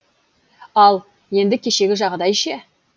ал енді кешегі жағдай ше